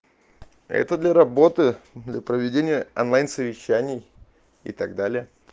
это для работы для проведения онлайн совещаний и так далее